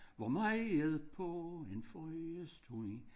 Hvor meget på en foie stund